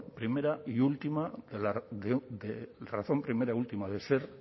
primera y última del ser